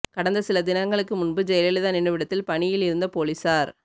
கடந்த சில தினங்களுக்கு முன்பு ஜெயலலிதா நினைவிடத்தில் பணியில் இருந்த போலீசார்